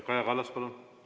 Kaja Kallas, palun!